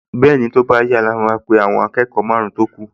Bẹ́ẹ̀ni, tó bá yá ló máa pe àwọn akẹ́kọ̀ọ mẹ́san-án tó kù